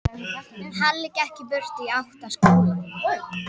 Halli gekk í burtu í átt að skólanum.